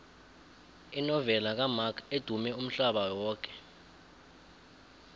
inovela kamark edumme umhlaba yoke